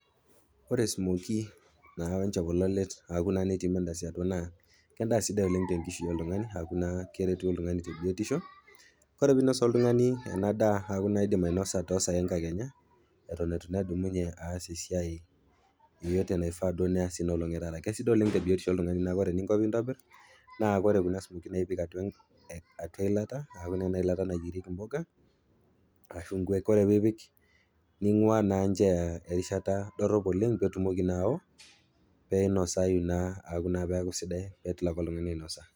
Ore smokie naa wenchopololet aaku naa netii mandazi atua naa kendaa sidai oleng' tenkishui oltumg'ani keretu oltung'ani tebiotisho. Ore peinos oltung'ani ena daa toosai enkakenya eton eitu naa edumunye aas esiai yeyote naifaa duo neas teina olong etaata. Kesidai oleng tebiotisho oltung'ani naa ore eninko peintobir, naa ore kuna smokie naa ipik atua eilata, enailata nayierieki impuka ashu nkuek. Ore pee ipik ning'ua naa nteya erishata dorop oleng petumoki naa aoo peinosayu naa, peaku sidai petumoki oltung'ani ainosa.